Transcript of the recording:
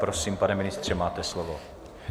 Prosím, pane ministře, máte slovo.